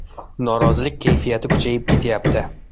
Norozilik kayfiyati kuchayib ketyapti.